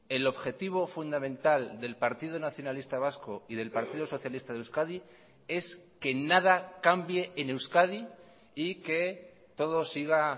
el objetivo fundamental del partido nacionalista vasco y del partido socialista de euskadi es que nada cambie en euskadi y que todo siga